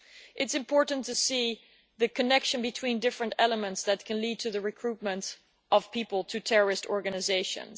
It is important to see the connection between the different elements that can lead to the recruitment of people to terrorist organisations.